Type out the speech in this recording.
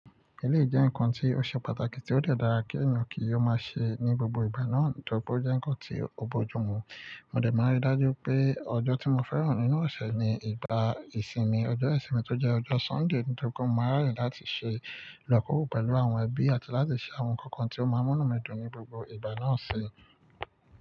Èléyi jẹ́ ǹkan tí ó ṣe pàtàkì tí ó de dàra kí èyàn kí ó má ṣe ní gbogbo ìgbà náà. Tori ó jẹ́ ǹkan tí ò bojú mu. Mo de máa rí dájú pé ọjọ́ tí mo fẹ́ràn nínú ọ̀ṣẹ̀ ni ìgbà ìsinmi, ọjọ́ ìsinmi tó jẹ́ ọjọ́ Sunday. Nígbà tó kó mo máa rà yín láti ṣe ìlọ́kòró pẹ̀lú àwọn ẹbí àti láti ṣe àwọn ǹkan kan tí ó máa múnú mi dùn ní gbogbo ìgbà náà ṣe.